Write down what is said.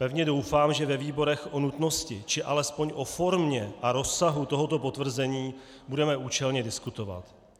Pevně doufám, že ve výborech o nutnosti či alespoň o formě a rozsahu tohoto potvrzení budeme účelně diskutovat.